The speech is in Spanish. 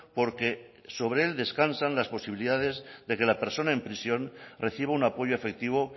porque sobre él descansan las posibilidades de que la persona en prisión reciba un apoyo efectivo